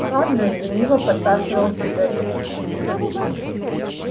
хардин лениво посасывал сигарету